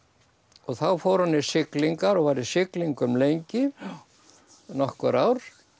þá fór hann í siglingar og var í siglingum lengi nokkur ár